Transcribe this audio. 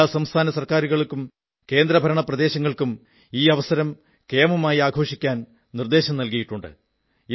എല്ലാ സംസ്ഥാന സർക്കാരുകളിലും കേന്ദ്രഭരണ പ്രദേശങ്ങളിലും ഈ അവസരം കേമമായി ആഘോഷിക്കാൻ നിർദ്ദേശിച്ചിട്ടുണ്ട്